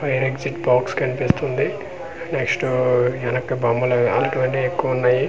Fire exit box కనిపిస్తుంది next వెనక్కి బొమ్మలు ఎక్కువ ఉన్నాయి.